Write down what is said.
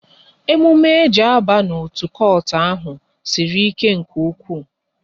Emume e ji aba n'otu kotu ahụ sịrị ike nke ụkwụ